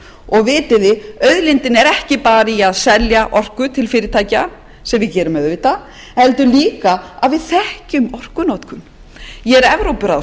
og vitið þið auðlindin er ekki bara í að selja orku til fyrirtækja sem við gerum auðvitað heldur líka að við þekkjum orkunotkun ég er